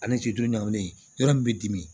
Ani ɲamaminen yɔrɔ min bɛ dimi